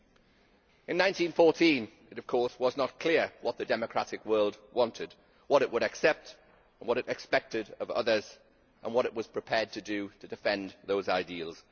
In 1914 it was not clear what the democratic world wanted, what it would accept and what it expected of others, and what it was prepared to do to defend those ideals.